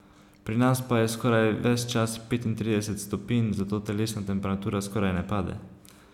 Pri nas pa je skoraj ves čas petintrideset stopinj, zato telesna temperatura skoraj ne pade.